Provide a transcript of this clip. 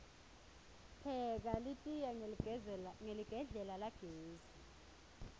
pheka litiya hqeligedlela lagesi